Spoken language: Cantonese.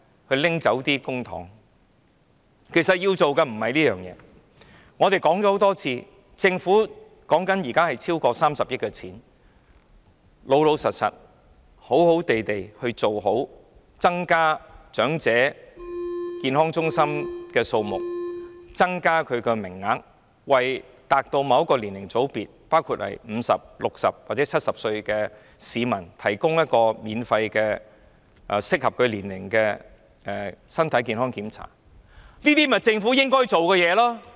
其實衞生署要做的不是這些，我們已說過很多次，現時有超過30億元的公帑，老實說，衞生署應好好地增加長者健康中心的數目和增加名額，並為達到某個年齡的組別，包括50歲、60歲或70歲的市民，提供適合其年齡的免費身體健康檢查，這些便是政府應該做的事情。